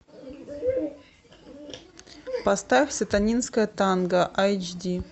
поставь сатанинское танго айч ди